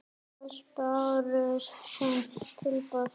Alls bárust fimm tilboð.